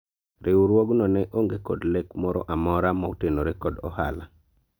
riwruogno ne onge kod lek moro amora motenore kod ohala